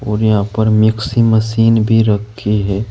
और यहां पर मिक्सी मशीन भी रखी है।